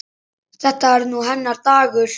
Þetta er nú hennar dagur.